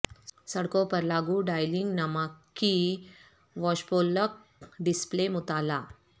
سڑکوں پر لاگو ڈائلنگ نمک کی واشپولک ڈسپلے مطالعہ